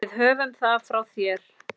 Við höfum það frá þér!